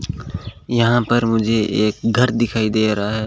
यहां पर मुझे एक घर दिखाई दे रहा है।